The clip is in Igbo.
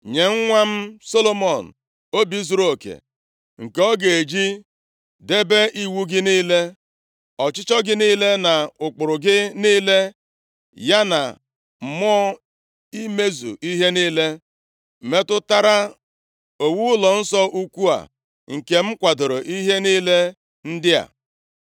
Nye nwa m Solomọn obi zuruoke nke ọ ga-eji debe iwu gị niile, ọchịchọ gị niile na ụkpụrụ gị niile, ya na mmụọ imezu ihe niile metụtara owuwu ụlọnsọ ukwu a nke m kwadooro ihe niile ndị a.”